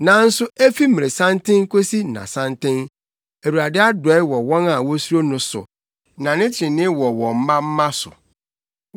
Nanso efi mmeresanten kosi nnasanten Awurade adɔe wɔ wɔn a wosuro no so, na ne trenee wɔ wɔn mma mma so,